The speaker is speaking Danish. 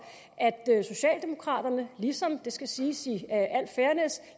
at socialdemokraterne ligesom det skal siges